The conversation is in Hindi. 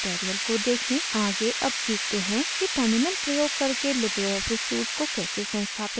आगे अब सीखते हैं कि terminal प्रयोग करके libreoffice suite को कैसे संस्थापित करते हैं